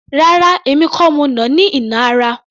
Rárá! Èmi kò ni mo nà á ní ìnà ara